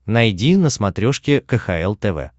найди на смотрешке кхл тв